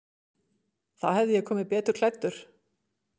Þá hefði ég komið betur klæddur.